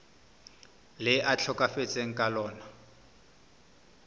le a tlhokafetseng ka lona